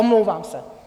Omlouvám se.